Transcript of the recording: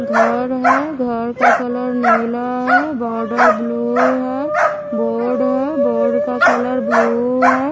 घर है घर का कलर नीला है बॉर्डर ब्लू है बोर्ड है बोर्ड का कलर ब्लू है।